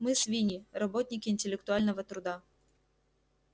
мы свиньи работники интеллектуального труда